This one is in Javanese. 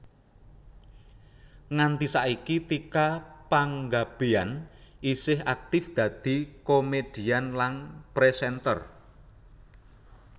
Nganti saiki Tika Panggabean isih aktif dadi komèdian lan présènter